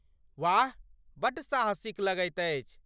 वाह! बड्ड साहसिक लगैत अछि।